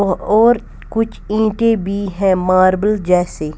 अ और कुछ ईंटें भी हैं मार्बल जैसी।